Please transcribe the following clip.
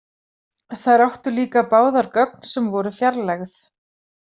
Þær áttu líka báðar gögn sem voru fjarlægð.